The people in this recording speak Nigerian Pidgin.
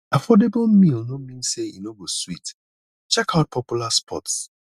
affordable meal no mean say e no go sweet check out popular spots